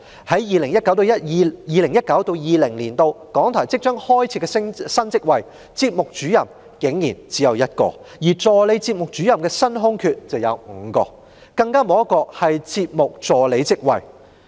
在 2019-2020 年度即將開設的新職位中，節目主任竟然只有1個，而助理節目主任的新空缺則有5個，更沒有一個是節目助理職位。